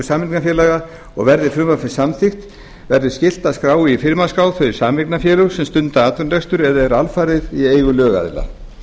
sameignarfélaga og verði frumvarpið samþykkt verður skylt að skrá í firmaskrá þau sameignarfélög sem stunda atvinnurekstur eða eru alfarið í eigu lögaðila